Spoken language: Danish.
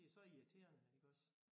Det er så irriterende iggås